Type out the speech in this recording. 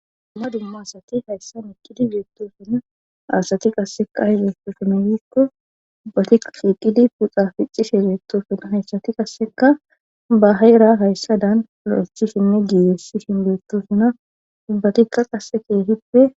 Damma dumma asati hayssa iqqidi beettosuna asati qasseka i beestosuna yiikko ubbati qiiqidi puxa ficcishe beettosuna hayssati qasseka baheera hayssadan lo7etchishinne giiyessi hin beettosuna ubbatikka qasse keehippe